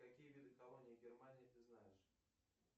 какие виды колонии германии ты знаешь